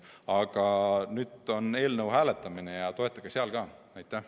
Aga nüüd tuleb eelnõu hääletamine ja toetage seda ka siis.